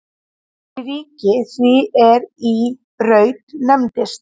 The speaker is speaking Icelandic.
Fyrir ríki því er í Braut nefndist.